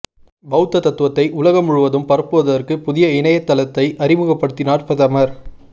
பௌத்த தத்துவத்தை உலகம் முழுவதும் பரப்புவதற்கு புதிய இணையத்தளத்தை அறிமுகப்படுத்தினார் பிரதமர்